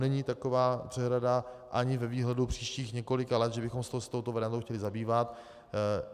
Není taková přehrada ani ve výhledu příštích několika let, že bychom se touto variantou chtěli zabývat.